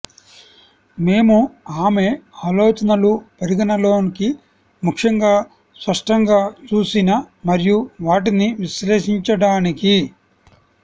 మేము ఆమె ఆలోచనలు పరిగణలోకి ముఖ్యంగా స్పష్టంగా చూసిన మరియు వాటిని విశ్లేషించడానికి